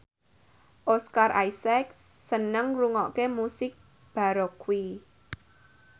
Oscar Isaac seneng ngrungokne musik baroque